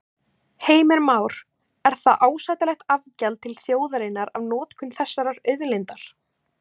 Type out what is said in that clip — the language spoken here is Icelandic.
Heimir Már: Er það ásættanlegt afgjald til þjóðarinnar af notkun þessarar auðlindar?